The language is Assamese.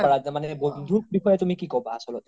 মানে বন্ধু বিষয়ে কি ক্'বা আচল্তে